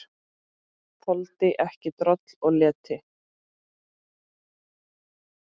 Þoldi ekki droll og leti.